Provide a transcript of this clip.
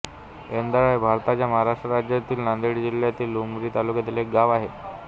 एंदाळा हे भारताच्या महाराष्ट्र राज्यातील नांदेड जिल्ह्यातील उमरी तालुक्यातील एक गाव आहे